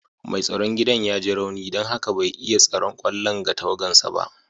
Mai tsaron gidan ya ji rauni don haka bai iya tsaron kwallon ga tawagansa ba.